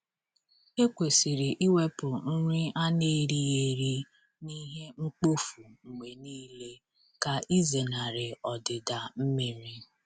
Ekwesịrị iwepụ nri a n’erighị eri na ihe mkpofu mgbe niile ka ịzenarị ọdịda mmiri.